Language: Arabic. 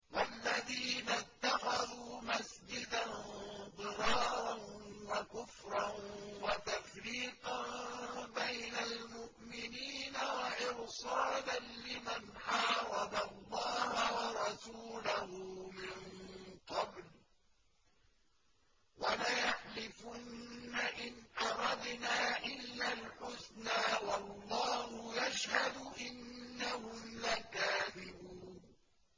وَالَّذِينَ اتَّخَذُوا مَسْجِدًا ضِرَارًا وَكُفْرًا وَتَفْرِيقًا بَيْنَ الْمُؤْمِنِينَ وَإِرْصَادًا لِّمَنْ حَارَبَ اللَّهَ وَرَسُولَهُ مِن قَبْلُ ۚ وَلَيَحْلِفُنَّ إِنْ أَرَدْنَا إِلَّا الْحُسْنَىٰ ۖ وَاللَّهُ يَشْهَدُ إِنَّهُمْ لَكَاذِبُونَ